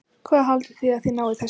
Hvað haldið þið að þið náið þessu?